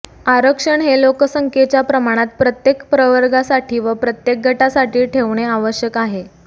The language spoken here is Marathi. आरक्षण हे लोकसंख्येच्या प्रमाणात प्रत्येक प्रवर्गासाठी व प्रत्येक गटासाठी ठेवणे आवश्यक आहे